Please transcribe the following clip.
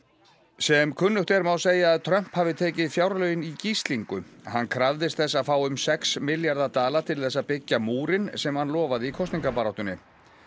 sem kunnugt er má segja að Trump hafi tekið fjárlögin í gíslingu hann krafðist þess að fá um sex milljarða dala til þess að byggja múrinn sem hann lofaði í kosningabaráttunni